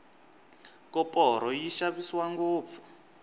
koporo yi xavisiwa ngopfu